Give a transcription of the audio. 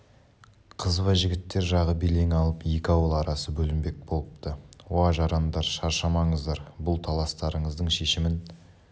қызба жігіттер жағы белең алып екі ауыл арасы бүлінбек болыпты уа жарандар шаршамаңыздар бұл таластарыңыздың шешімін